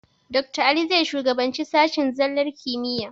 Dakta Ali zai shugabanci sashen tsallar kimiyya.